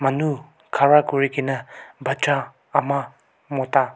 anu khara kunikina baccha ama mota--